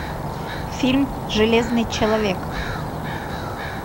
фильм железный человек